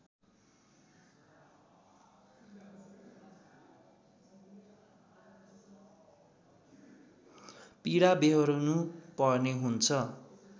पीडा व्यहोर्नु पर्ने हुन्छ